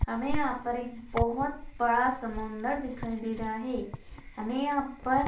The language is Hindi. हमें यहा पर एक बहुत बड़ा समुंदर दिखाई दे रहा है हमें यहा पर--